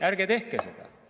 Ärge tehke seda.